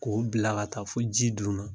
Ko bila ka taa fo ji dun na